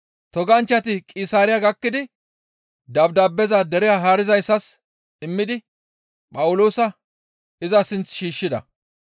Toganchchati Qisaariya gakkidi dabdaabeza dere haarizayssas immidi Phawuloosa iza sinth shiishshida.